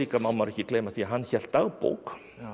má maður ekki gleyma því að hann hélt dagbók